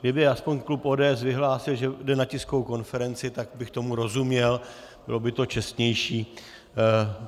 Kdyby aspoň klub ODS vyhlásil, že jde na tiskovou konferenci, tak bych tomu rozuměl, bylo by to čestnější.